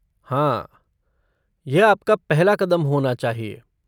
हाँ, यह आपका पहला कदम होना चाहिए।